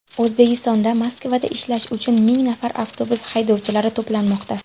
O‘zbekistonda Moskvada ishlash uchun ming nafar avtobus haydovchilari to‘planmoqda.